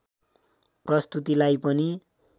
प्रस्तुतिलाई पनि